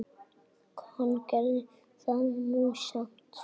Hann gerði það nú samt.